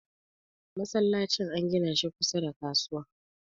masallacin an gina shi kusa da kasuwa